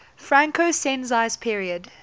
franco sensi's period